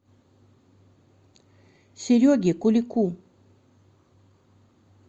сереге кулику